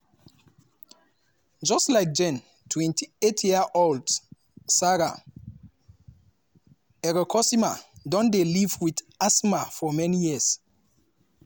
just like jane 28-year-old sarah erekosima don dey live wit asthma for many years.